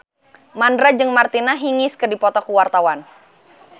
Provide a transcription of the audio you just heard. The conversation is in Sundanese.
Mandra jeung Martina Hingis keur dipoto ku wartawan